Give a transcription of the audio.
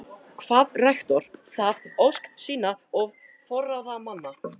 Kvað rektor það ósk sína og forráðamanna